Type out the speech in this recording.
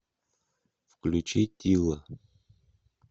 включи тилла